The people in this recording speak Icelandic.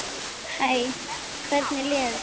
Hæ, hvernig líður þér?